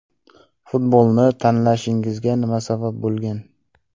Futbolni tanlashingizga nima sabab bo‘lgan?